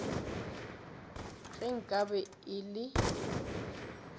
ge nka be e le